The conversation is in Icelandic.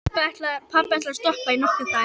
Pabbi ætlaði að stoppa í nokkra daga.